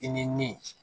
I ni min